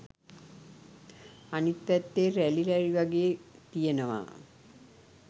අනිත් පැත්තේ රැලි රැලි වගේ තියෙනවා